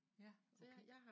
Ja, okay